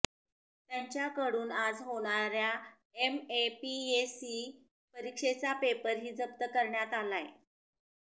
त्यांच्याकडून आज होणाऱ्या एमएपीएससी परीक्षेचा पेपर ही जप्त करण्यात आलाय